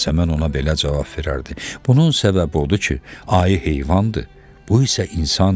Yasəmən ona belə cavab verərdi: Bunun səbəbi odur ki, ayı heyvandır, bu isə insandır.